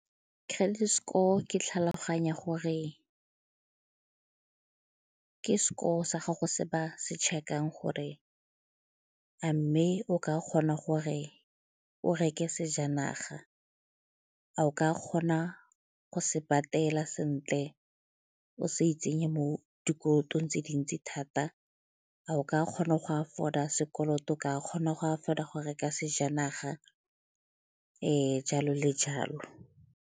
Credit score ke tlhaloganya gore ke score sa gago se ba se check-ang gore a mme o ka kgona gore o reke sejanaga, a o ka kgona go se patela sentle o se itsenye mo dikolotong tse dintsi thata, a o ka kgona go afford-a sekoloto, a o ka kgona go afford-a go reka sejanaga jalo le jalo.